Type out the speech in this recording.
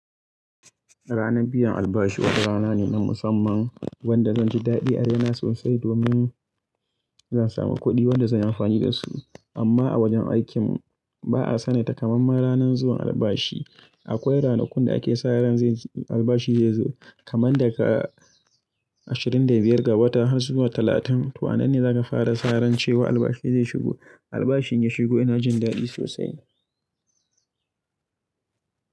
Rana biyan albashi wani rana ne na musamman wanda zanji dadi a raina sosai domin zan samu kudi wanda zan yi amfani da su. Rana biyan albashi wata rana ne na musamman wanda zanji a raina sosai domin akwai ranakku da ake sa ran albashi zai zo kamar daga ashirin da biyar ga wata har zuwa talatin sannan ne zaka ran cewa albashi zai shigo. Albashi in ya shigo ina jin dadi sosai.